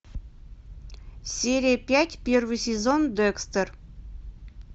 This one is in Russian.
серия пять первый сезон декстер